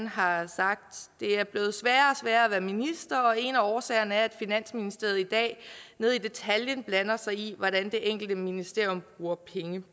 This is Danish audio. har sagt det er blevet sværere at være minister og en af årsagerne er at finansministeriet i dag ned i detaljen blander sig i hvordan det enkelte ministerium bruger penge